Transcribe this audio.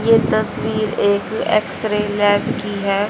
ये तस्वीर एक एक्सरे लैब की है।